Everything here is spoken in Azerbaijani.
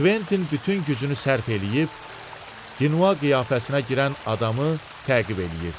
Kventin bütün gücünü sərf eləyib Dinua qiyafəsinə girən adamı təqib eləyirdi.